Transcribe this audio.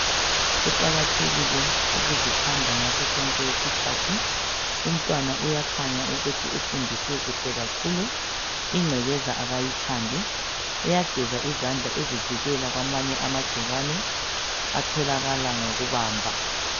Kuqakathekile ukuzithanda ngaso sonke isikhathi, umntwana uyakhanya ukuthi ufundisiwe kuhle kakhulu. Ingcekeza kayithandi uyageza izandla ezivikela kwamanye amagcikwane atholakala ngokubamba.